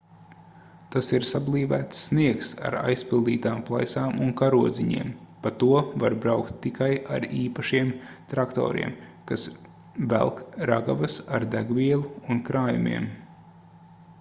tas ir sablīvēts sniegs ar aizpildītām plaisām un karodziņiem pa to var braukt tikai ar īpašiem traktoriem kas velk ragavas ar degvielu un krājumiem